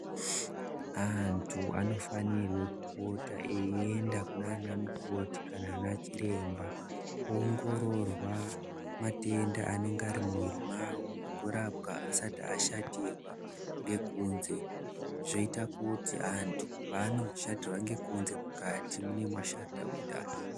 Antu anofanira kupota eienda kunana mukoti kana ana chiremba voongororwa matenda ari muviri mavo vorapwa vasati vashatirwa ngekunze zvoita kuti antu panenge ashatirwa ngokunze mukati munenge mashata kudhara.